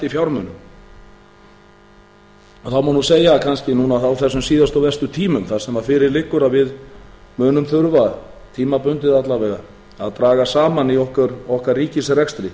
fjármunum það má segja að kannski á þessum síðustu og verstu tímum þar sem liggur fyrir að við munum þurfa tímabundið alla vega að draga saman í okkar ríkisrekstri